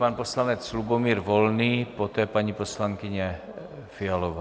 Pan poslanec Lubomír Volný, poté paní poslankyně Fialová.